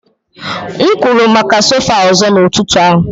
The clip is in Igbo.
M kwụrụ maka sofa ọzọ n'ụtụtụ a.